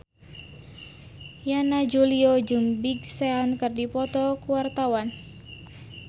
Yana Julio jeung Big Sean keur dipoto ku wartawan